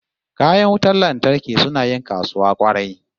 Kayan wutan lantarki suna yin kasuwa kwarai